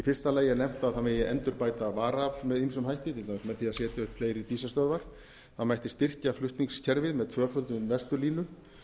fyrsta lagi er nefnt að það megi endurbæta varaafl með ýmsum hætti til dæmis með því að setja upp fleiri dísilstöðvar það mætti styrkja flutningskerfið með tvöföldun vesturlínu